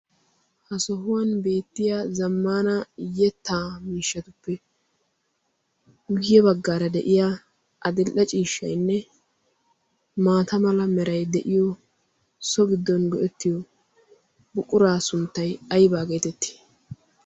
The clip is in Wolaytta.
ha sohuwan beettiya zammana iyyetta miishshatuppe guyye baggaara de7iya adil77a ciishshainne maata mala merai de7iyo so giddon go7ettiyo buquraa sunttai aibaa geetettii?